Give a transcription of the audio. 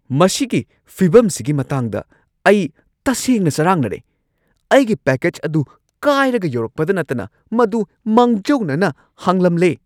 ꯃꯁꯤꯒꯤ ꯐꯤꯚꯝꯁꯤꯒꯤ ꯃꯇꯥꯡꯗ ꯑꯩ ꯇꯁꯦꯡꯅ ꯆꯔꯥꯡꯅꯔꯦ꯫ ꯑꯩꯒꯤ ꯄꯦꯛꯀꯦꯖ ꯑꯗꯨ ꯀꯥꯢꯔꯒ ꯌꯧꯔꯛꯄꯗ ꯅꯠꯇꯅ ꯃꯗꯨ ꯃꯥꯡꯖꯧꯅꯅ ꯍꯥꯡꯂꯝꯂꯦ꯫